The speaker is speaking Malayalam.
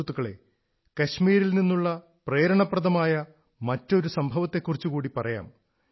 സുഹൃത്തുക്കളേ കശ്മീരിൽ നിന്നുള്ള പ്രേരണപ്രദമായ മറ്റൊരു സംഭവത്തെക്കുറിച്ചു കൂടി പറയാം